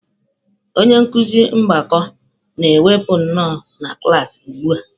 Onye nkuzi mgbakọ na mwepụ nọ na klaasị ugbu a.